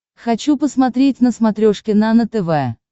хочу посмотреть на смотрешке нано тв